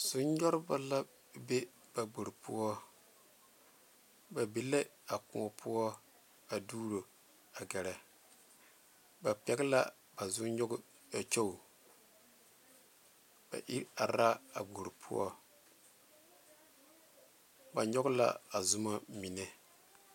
Zɔne nyogreba la be ba gbore poɔ ba be la a kõɔ poɔ a doɔro a gare ba pegle la ba boŋ nyoŋ kyuu ba iri are la a gbore poɔ ba nyoŋ la a zɔma mine.